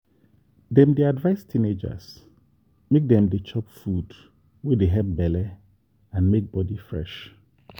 dem dey advise teenagers make dem dey chop food wey dey help belle and make body fresh.